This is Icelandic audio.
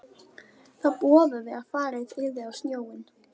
Það boðaði að farið yrði á sjóinn.